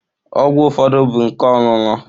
Ọgwụ ụfọdụ bụ nke ọṅụṅụ.